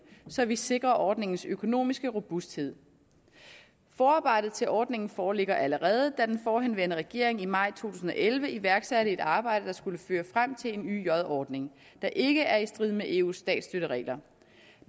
så vi sikrer ordningens økonomiske robusthed forarbejdet til ordningen foreligger allerede da den forhenværende regering i maj to tusind og elleve iværksatte et arbejde der skulle føre frem til en yj ordning der ikke er i strid med eus statsstøtteregler